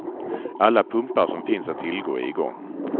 Alla pumpar som finns att tillgå är i gång.